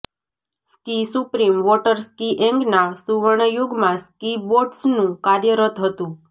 ski supreme વોટરસ્કિએંગના સુવર્ણ યુગમાં સ્કી બોટ્સનું કાર્યરત હતું